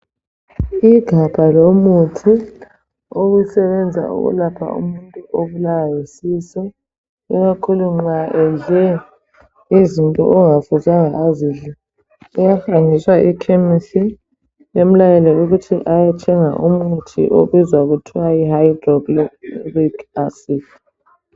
Igabha lomuthi osebenza ukulapha umuntu obulawa yisisu ikakhulu nxa edle izinto okungafuzanga azidle, uyahanjiswa ekhemesi bemlayele ukuthi ayethenga umuthi okuthiwa yi hydrochloric acid.